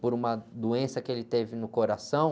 por uma doença que ele teve no coração.